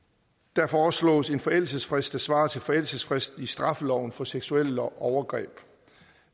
der foreslås en forældelsesfrist der svarer til forældelsesfristen i straffeloven for seksuelle overgreb